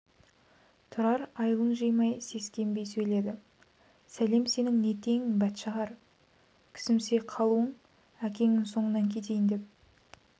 тұрар айылын жимай сескенбей сөйледі сәлем сенің не теңің бәтшағар кісімси қалуың әкеңнің соңынан кетейін деп